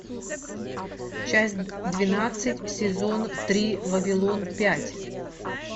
часть двенадцать сезон три вавилон пять